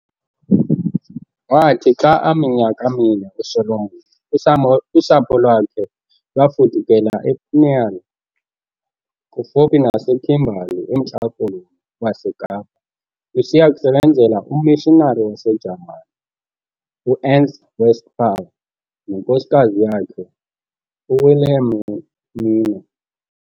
Waathi xa aminyaka mine uSolomon, usapho lwakhe lwafudukela ePniel kufuphi naseKimberly emNtla koloni weKapa lusiya kusebenzela ummishinari waseJamani, uErnst Westphal, nenkosikazi yakhe uWilhelmine.